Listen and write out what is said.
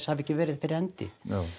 hafa ekki verið fyrir hendi